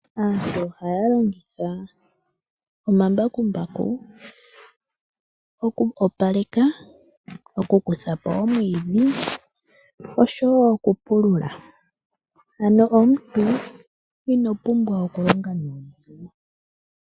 Aantu ohaya longitha omambakumbaku oku opaleka, oku kuthapo omwidhi oshowo oku pulula ano omuntu ino pumbwa oku longa nuudhigu.